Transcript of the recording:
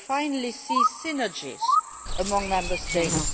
We finally see synergies among Member States.